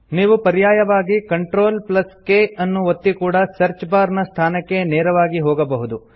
ನೀವು ಪರ್ಯಾಯವಾಗಿ CTRLK ಅನ್ನು ಒತ್ತಿ ಕೂಡಾ ಸರ್ಚ್ ಬಾರ್ ನ ಸ್ಥಾನಕ್ಕೆ ನೇರವಾಗಿ ಹೋಗಬಹುದು